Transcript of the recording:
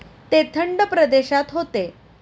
ते थंड प्रदेशात होते.